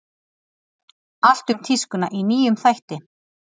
Allt um tískuna í nýjum þætti